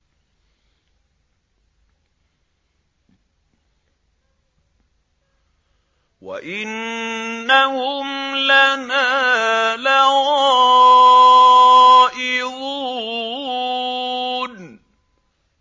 وَإِنَّهُمْ لَنَا لَغَائِظُونَ